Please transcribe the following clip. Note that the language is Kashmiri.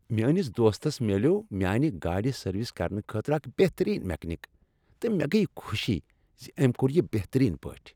میٲنس دوستس ملیوٚو میانِہ گاڑِ سروس کرنہٕ خٲطرٕ اکھ بہتٔریٖن میکینک تہٕ مےٚ گٔیۍ خوشی ز أمۍ کوٚر یہ بہتٔریٖن پٲٹھۍ۔